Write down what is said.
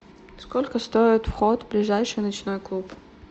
сколько стоит вход в ближайший ночной клуб